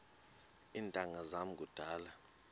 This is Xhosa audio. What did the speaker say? iintanga zam kudala